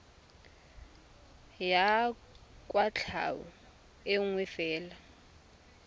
ya kwatlhao e nngwe fela